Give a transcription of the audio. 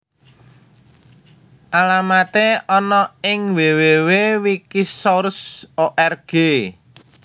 Alamaté ana ing www wikisource org